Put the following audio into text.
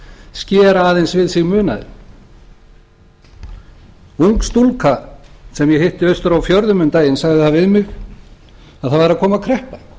skera aðeins við sig munaðinn ung stúlka sem ég hitti austur á fjörðum um daginn sagði við mig að það væri að koma kreppa og